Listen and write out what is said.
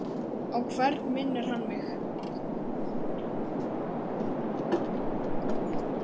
Á hvern minnir hann mig?